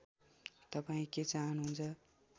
तपाईँ के चाहनुहुन्छ